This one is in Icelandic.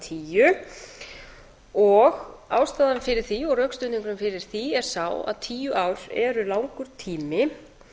tíu ástæðan fyrir því og rökstuðningurinn fyrir því er sá að tíu ár eru langur tími